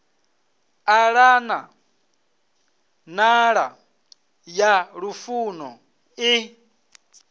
ṱalana nḓala ya lufuno i